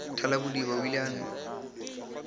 thalabodiba o ile a no